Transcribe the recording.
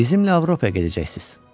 Bizimlə Avropaya gedəcəksiz.